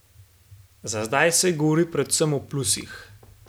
Za zdaj se govori predvsem o plusih.